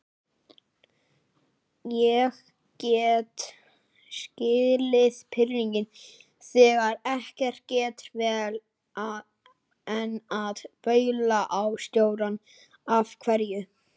Ég get skilið pirringinn þegar ekki gengur vel, en að baula á stjórann. af hverju?